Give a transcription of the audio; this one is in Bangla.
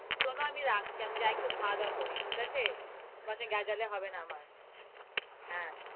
শুনো আমি রাখছি। আমি যাই একটু খাওয়া-দাওয়া করি, ঠিক আছে, তোমার সঙ্গে গেজালে হবে না আমার, হ্যাঁ,